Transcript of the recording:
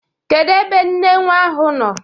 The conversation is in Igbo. Kedu ebe nne nwa ahụ nọ?